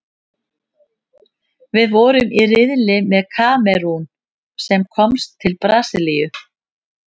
Við vorum í riðli með Kamerún, sem komst til Brasilíu.